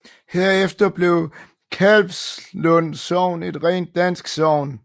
Herefter blev Kalvslund Sogn et rent dansk sogn